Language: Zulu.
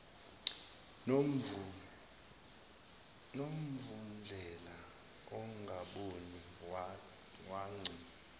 movundlela ongaboni wagci